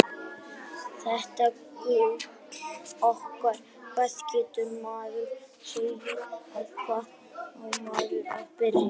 Þetta gull okkar, hvað getur maður sagt og hvar á maður að byrja?